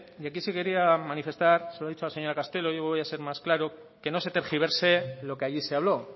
y aquí sí quería manifestar se lo ha dicho la señora castelo yo voy a ser más claro que no se tergiverse lo que allí se habló